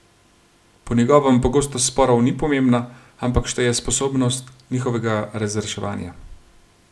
Po njegovem pogostost sporov ni pomembna, ampak šteje sposobnost njihovega razreševanja.